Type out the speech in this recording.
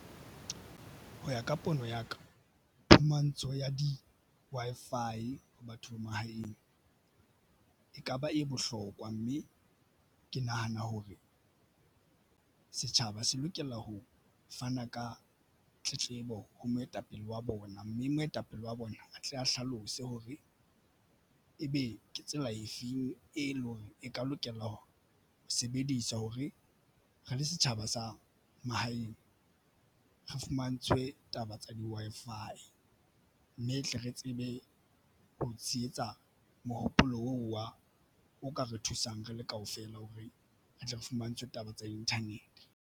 Ho ya ka pono ya ka phumantsho ya di-Wi-Fi ho batho ba mahaeng ekaba e bohlokwa mme ke nahana hore setjhaba se lokela ho fana ka tletlebo ho moetapele wa bona, mme moetapele wa bona a tle a hlalose hore ebe ke tsela efeng e leng hore e ka lokela ho sebedisa hore re le setjhaba sa mahaeng re fumantshwe taba tsa di-Wi-Fi mme e tle re tsebe ho tsietsa mohopolo wa o ka re thusang re le kaofela hore re tle re fumantshwe taba tsa internet-e.